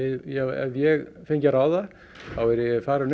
ef ég fengi að ráða þá væri ég farinn